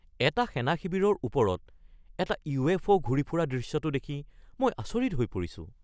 এটা সেনা শিবিৰৰ ওপৰত এটা ইউএফও ঘূৰি থকা দৃশ্যটো দেখি মই আচৰিত হৈ পৰিছোঁ।